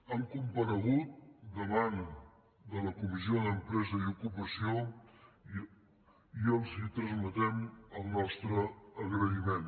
han comparegut davant de la comissió d’empresa i ocupació i els transmetem el nostre agraïment